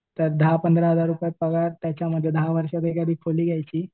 त्यात दहा पंधरा हजार रुपये पगार त्याच्यामध्ये दहा वर्षात एखादी खोली घ्यायची.